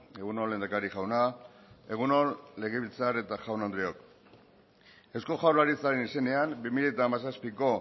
egun on lehendakari jauna egun on legebiltzar eta jaun andreok eusko jaurlaritzaren izenean bi mila hamazazpiko